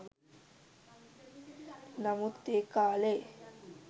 නමුත් ඒ කාලෙ